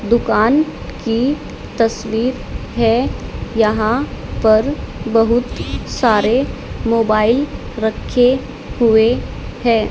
दुकान की तस्वीर है यहां पर बहुत सारे मोबाइल रखे हुए हैं।